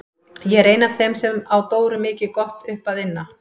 Ég er ein af þeim sem á Dóru mikið gott upp að inna.